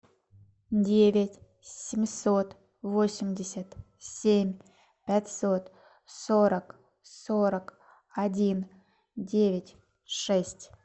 девять семьсот восемьдесят семь пятьсот сорок сорок один девять шесть